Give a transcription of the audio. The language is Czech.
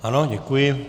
Ano, děkuji.